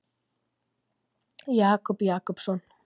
Jakob Jakobsson.